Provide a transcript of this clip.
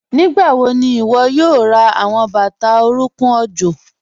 Nígbàwọ̀ ní iwó̩ yóò rá àwọn bátà orùnkùn ọ̀jọ̀?